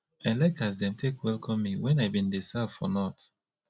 i like as dem take welcome me wen i bin dey serve for north